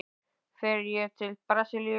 Fer ég til Brasilíu?